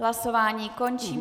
Hlasování končím.